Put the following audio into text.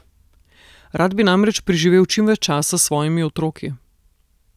Rad bi namreč preživel čim več časa s svojimi otroki.